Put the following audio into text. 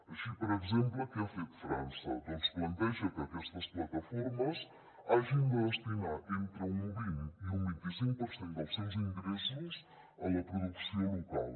així per exemple què ha fet frança doncs planteja que aquestes plataformes hagin de destinar entre un vint i un vint·i·cinc per cent dels seus ingres·sos a la producció local